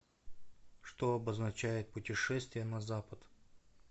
что обозначает путешествие на запад